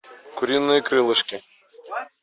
куриные крылышки